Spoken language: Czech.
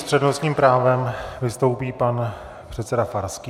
S přednostním právem vystoupí pan předseda Farský.